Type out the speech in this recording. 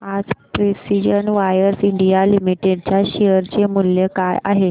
आज precision wires India limited च्या share चे मूल्य काय आहे